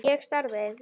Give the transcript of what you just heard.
Ég starði.